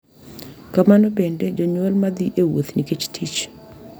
Kamano bende, jonyuol ma dhi e wuoth nikech tich .